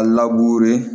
A